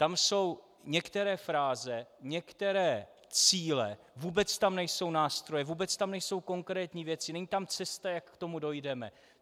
Tam jsou některé fráze, některé cíle, vůbec tam nejsou nástroje, vůbec tam nejsou konkrétní věci, není tam cesta, jak k tomu dojdeme.